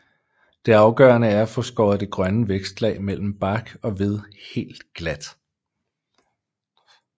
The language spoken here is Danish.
Det afgørende er at få skåret det grønne vækstlag mellem bark og ved helt glat